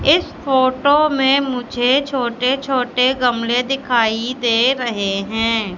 इस फोटो में मुझे छोटे छोटे गमले दिखाई दे रहे हैं।